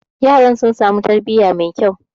yaran sun sami tarbiyya mai kyau